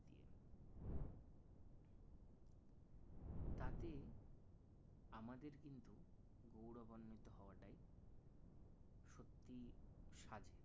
তাতে আমাদের কিন্তু গৌরবান্বিত হওয়াটাই সত্যিই সাজে